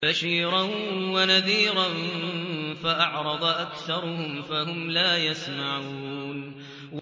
بَشِيرًا وَنَذِيرًا فَأَعْرَضَ أَكْثَرُهُمْ فَهُمْ لَا يَسْمَعُونَ